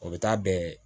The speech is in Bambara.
O bɛ taa bɛn